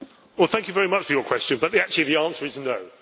Thank you very much for your question, but actually the answer is no.